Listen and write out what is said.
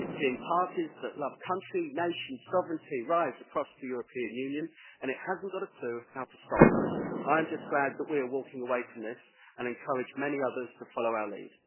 It is seeing parties that love country, nation and sovereignty rise across the European Union, and it hasn't got a clue how to stop them. I am just glad that we are walking away from this, and I encourage many others to follow our lead.